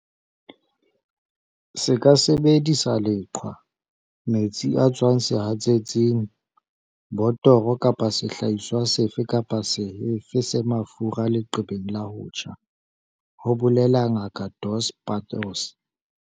"Se ka sebedisa leqhwa, metsi a tswang sehatsetsing, botoro kapa sehlahiswa sefe kapa sefe se mafura leqebeng la ho tjha," ho bolela Ngaka Dos Passos.